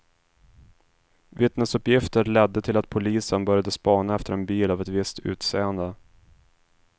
Vittnesuppgifter ledde till att polisen började spana efter en bil av ett visst utseende.